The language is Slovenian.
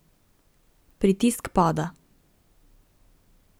Pritisk pada.